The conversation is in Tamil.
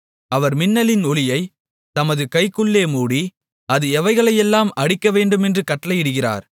அவர் மின்னலின் ஒளியைத் தமது கைக்குள்ளே மூடி அது எவைகளையெல்லாம் அடிக்கவேண்டுமென்று கட்டளையிடுகிறார்